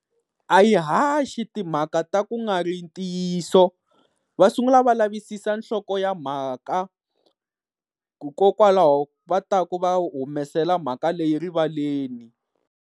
A yi haxi timhaka ta ku nga ri ntiyiso va sungula va lavisisa nhloko ya mhaka, hikokwalaho va ta ku va humesela mhaka leyi rivaleni.